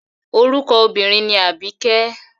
Orúkọ obínrin ni Àbíkẹ́.